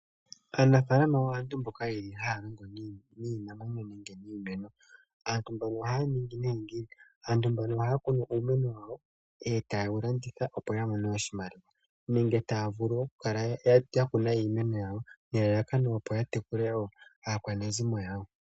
Aanfalama aantu mbono yeli haya ningi iimeno nenge niimuna. aantu mbono ohaya kunu iimeno yawo eta ye wu landitha opo ya mone oshimaliwa nenge taya vulu oku kala ya kuna iimeno yawo, ne lalakano opo ya tekule aakwanezimo yawo.